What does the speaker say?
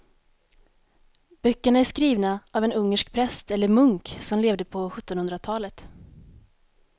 Böckerna är skrivna av en ungersk präst eller munk som levde på sjuttonhundratalet.